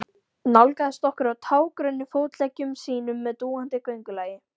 Nálgaðist okkur á tággrönnum fótleggjum sínum með dúandi göngulagi.